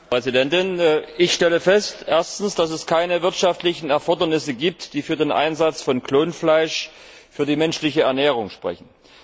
Frau Präsidentin! Ich stelle fest Erstens, dass es keine wirtschaftlichen Erfordernisse gibt, die für den Einsatz von Klonfleisch für die menschliche Ernährung sprechen.